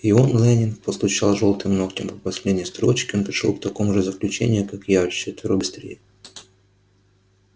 и он лэннинг постучал жёлтым ногтём по последней строчке он пришёл к такому же заключению как и я вчетверо быстрее